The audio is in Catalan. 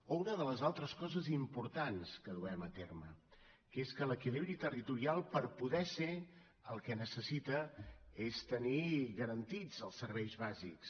o una de les altres coses importants que duem a terme que és que l’equilibri territorial per poder ser el que necessita és tenir garantits els serveis bàsics